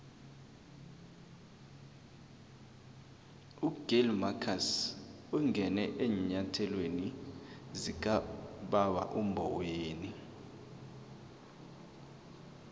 ugill marcus ungene eenyathelweni zikababa umboweni